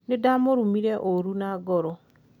nindamũrumire ũru na ngoro